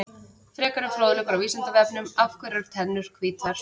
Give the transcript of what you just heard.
Frekari fróðleikur á Vísindavefnum: Af hverju eru tennur hvítar?